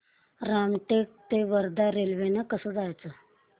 रामटेक ते वर्धा रेल्वे ने कसं जायचं